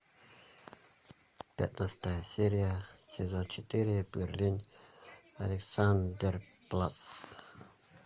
пятнадцатая серия сезон четыре берлин александерплац